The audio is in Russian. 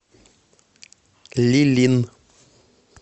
лилин